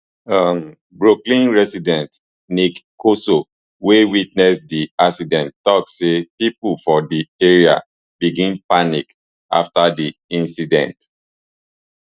um brooklyn resident nick corso wey witness di accident tok say pipo for di area begin panic afta di incident